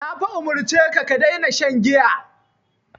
Na fa umurce ka "ka daina shan giya".